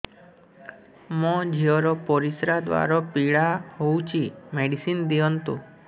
ମୋ ଝିଅ ର ପରିସ୍ରା ଦ୍ଵାର ପୀଡା ହଉଚି ମେଡିସିନ ଦିଅନ୍ତୁ